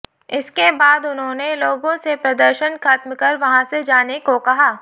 इसके बाद उन्होंने लोगों से प्रदर्शन खत्म कर वहां से जाने को कहा